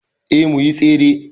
Eh muyi Tsere